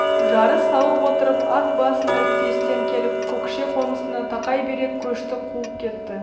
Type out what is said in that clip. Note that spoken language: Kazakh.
жарыс салып отырып ат басын ірікпестен келіп көкше қонысына тақай бере көшті қуып жетті